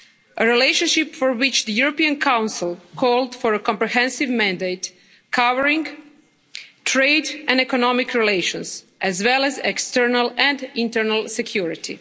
A relationship for which the European Council called for a comprehensive mandate, covering trade and economic relations, as well as external and internal security.